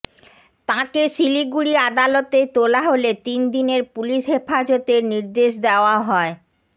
তাঁকে শিলিগুড়ি আদালতে তোলা হলে তিনদিনের পুলিশ হেফাজতের নির্দেশ দেওয়া হয়